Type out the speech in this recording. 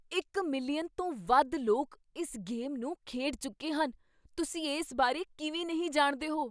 ਇੱਕ ਮਿਲੀਅਨ ਤੋਂ ਵੱਧ ਲੋਕ ਇਸ ਗੇਮ ਨੂੰ ਖੇਡ ਚੁੱਕੇ ਹਨ। ਤੁਸੀਂ ਇਸ ਬਾਰੇ ਕਿਵੇਂ ਨਹੀਂ ਜਾਣਦੇ ਹੋ?